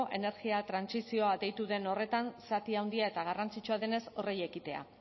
energia trantsizioa deitu den horretan zati handia eta garrantzitsua denez horri ekitea